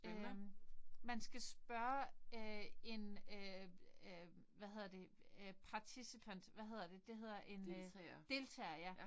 Øh man skal spørge øh en øh øh hvad hedder det øh participant hvad hedder det det hedder en øh deltager ja